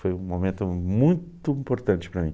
Foi um momento muito importante para mim.